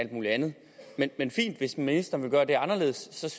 mulig andet men fint hvis ministeren vil gøre det anderledes